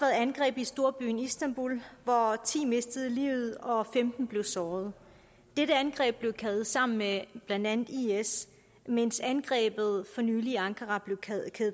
angreb i storbyen istanbul hvor ti mistede livet og femten blev såret dette angreb blev kædet sammen med blandt andet is mens angrebet for nylig i ankara blev kædet